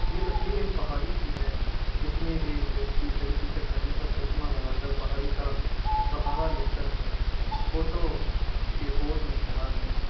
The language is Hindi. यह तस्वीर एक पहाड़ी की है जिसमे एक व्यक्ति हरी टीशर्ट पेहन कर चश्मा लगा कर पहाड़ी का सहारा लेकर फोटो के पोज़ में खड़ा है।